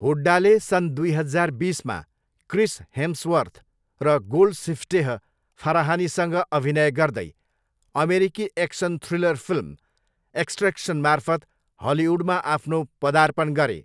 हुड्डाले सन् दुई हजार बिसमा क्रिस हेम्सवर्थ र गोल्डसिफ्टेह फराहानीसँग अभिनय गर्दै अमेरिकी एक्सन थ्रिलर फिल्म एक्स्ट्रेक्सनमार्फत हलिउडमा आफ्नो पदार्पण गरे।